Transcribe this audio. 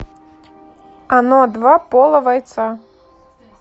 оно два пола вайтса